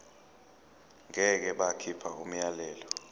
ngeke bakhipha umyalelo